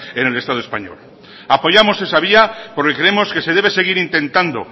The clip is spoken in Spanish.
en el estado español apoyamos esa vía porque creemos que se debe seguir intentando